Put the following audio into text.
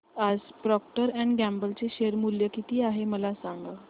आज Procter and Gamble चे share मूल्य किती आहे मला सांगा